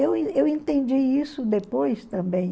Eu en eu entendi isso depois também.